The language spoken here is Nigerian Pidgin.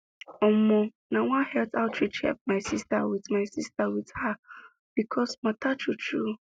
omo nah one health outreach help my sister with my sister with her pcos matter true true